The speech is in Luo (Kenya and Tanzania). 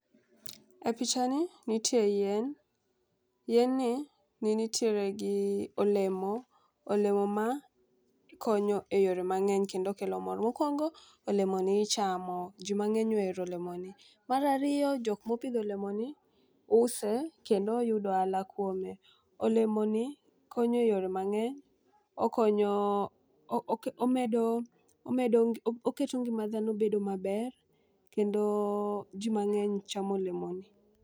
E picha ni nitie yien, yien ni ni nitiere gi olemo .Olemo ma konyo eyore mangeny kendo kelo mor. Mokwongo olemoni ichamo jii mang'eny ohero olemni. Mar ariyo jok mopidho olemo ni use kendo yudo ohala kuome. Olemo ni konye yore mang'eny oko omedo omedo oketo ngima dhano bedo maber kendo jii mang'eny chamo olemo ni.